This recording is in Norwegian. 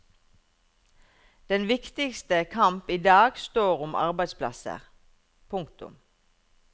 Den viktigste kamp idag står om arbeidsplasser. punktum